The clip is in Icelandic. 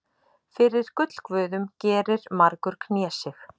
Fyrir gullguðum gerir margur knésig.